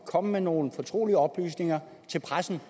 komme med nogle fortrolige oplysninger til pressen